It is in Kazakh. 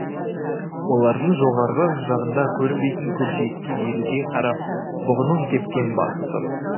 олардың жоғарғы жағында көрінбейтін көкжиекке еліге қарап бұғының кепкен басы тұр